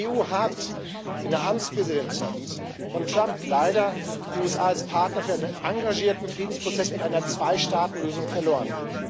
Die EU hat in der Amtspräsidentschaft von Trump leider die USA als Partner für einen engagierten Friedensprozess mit einer Zweistaatenlösung verloren.